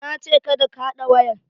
Na ce 'Kada ka haɗa wayar'!